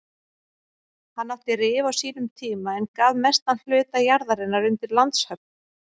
Hann átti Rif á sínum tíma en gaf mestan hluta jarðarinnar undir landshöfn.